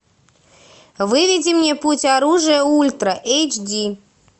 выведи мне путь оружия ультра эйч ди